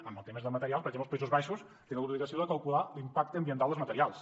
amb els temes del material per exemple els països baixos tenen l’obligació de calcular l’impacte ambiental dels materials